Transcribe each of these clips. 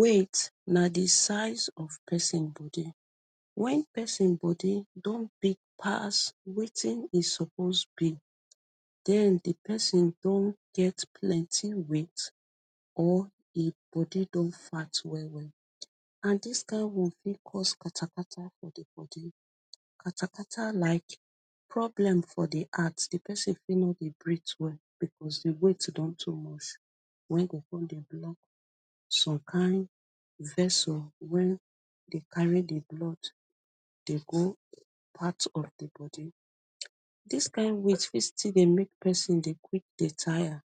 Weight na the size of pesin body. When pesin body don big pass wetin e suppose be, den the pesin don get plenty weight or e body don fat well well. And dis kind one fit cause katakata for the body. Katakata like problem for the heart. The pesin fit no dey breadth well because the weight don too much. Wey go con dey block some kind vessle wey dey carry the blood dey go part of the body. Dis kind weight fit still dey make pesin dey dey quick dey tire.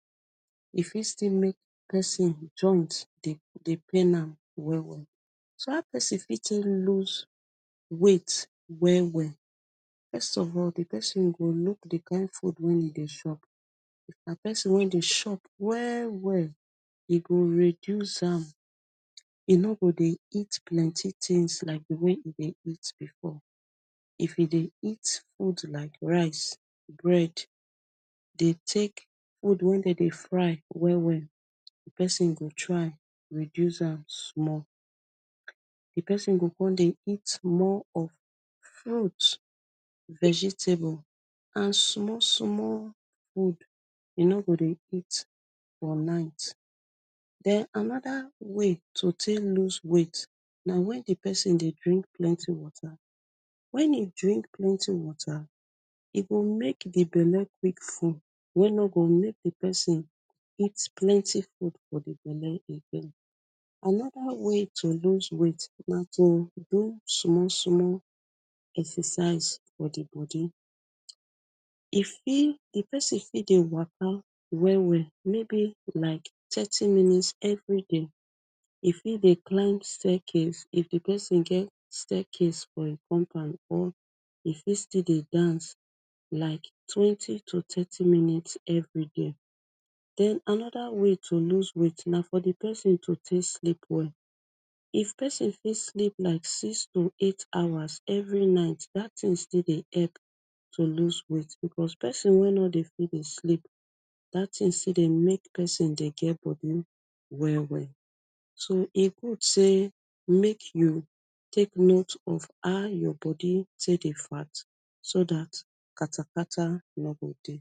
E fit still make pesin joint dey dey pain am well well. So, how pesin fit take lose weight well well. First of all, the pesin go look the kind food wey e dey chop. If na person wey dey chop well well, e go reduce am. E no go dey eat plenty things like the way e dey eat before. If e dey eat food like rice, bread, dey take food wey de dey fry well well, pesin go try reduce am small. The pesin go con dey eat more of fruit, vegetable and small small food. E no go dey eat for night. Den another way to take lose weight na when the pesin dey drink plenty water. When e drink plenty water, e go make the belle quick full, wey no go amke the person eat plenty food for the belle again. Another way to lose weight na to do small small exercise for the body. If e, if pesin fit dey waka well well. Maybe like thirty minutes every day. E fit dey climb staircase, if the pesin get staircase for im compound or e fit still dey dance like twenty to thirty minutes every day. Den another way to lose na for the pesin to take sleep well. If pesin fit sleep like six to eight hours every night, dat thing still dey help to lose weight because pesin wey no dey fit dey sleep, dat thing still dey make pesin still dey get body well well. So, e good sey make you take note of how your body take dey fat so dat katakata no go dey.